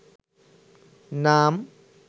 নাম